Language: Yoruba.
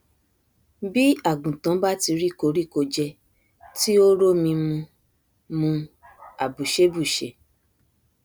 bí àgùntàn bá ti rí koríko jẹ tí ó rómi mu mu àbùṣé bùṣe